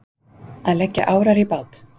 Að leggja árar í bát